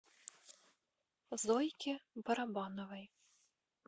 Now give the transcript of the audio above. зойке барабановой